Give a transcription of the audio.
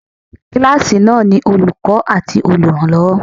Kíláàsì náà ni Olùkọ́ àti olùrànlọ́wọ́.